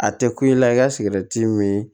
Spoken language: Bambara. A tɛ ku i la i ka sigɛriti min